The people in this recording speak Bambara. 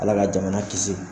Ala ka jamana kisi.